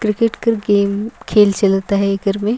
क्रिकेट के गेम खेल चलता है घर में--